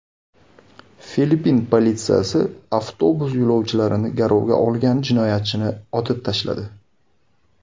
Filippin politsiyasi avtobus yo‘lovchilarini garovga olgan jinoyatchini otib tashladi.